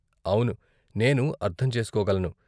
అవును, నేను అర్ధం చేసుకోగలను.